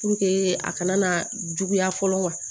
a kana na juguya fɔlɔ wa